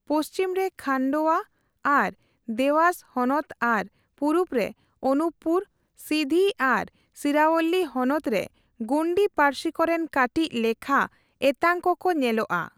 ᱯᱚᱪᱷᱤᱢ ᱨᱮ ᱠᱷᱟᱱᱰᱳᱣᱟ ᱟᱨ ᱫᱮᱣᱟᱥ ᱦᱚᱱᱚᱛ ᱟᱨ ᱯᱩᱨᱩᱵᱽ ᱨᱮ ᱚᱱᱩᱯᱯᱩᱨ, ᱥᱤᱫᱷᱤ ᱟᱨ ᱥᱤᱝᱨᱟᱳᱣᱞᱤ ᱦᱚᱱᱚᱛ ᱨᱮ ᱜᱳᱱᱰᱤ ᱯᱟᱹᱨᱥᱤ ᱠᱚᱨᱮᱱ ᱠᱟᱹᱴᱤᱡ ᱞᱮᱠᱷᱟ ᱮᱛᱟᱝ ᱠᱚᱠᱚ ᱧᱮᱞᱚᱜᱼᱟ ᱾